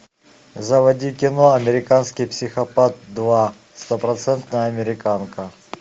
заводи кино американский психопат два стопроцентная американка